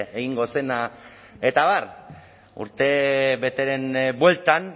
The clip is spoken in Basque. egingo zena eta abar urtebeteren bueltan